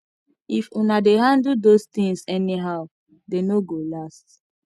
if una dey handle those things anyhow dey no go last